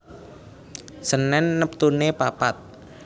Senen neptune papat